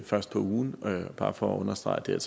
fra står for en stor del af